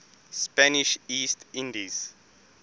spanish east indies